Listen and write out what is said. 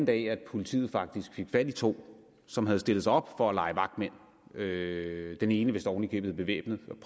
dag at politiet faktisk fik fat i to som havde stillet sig op for at lege vagtmænd den ene vist oven i købet bevæbnet men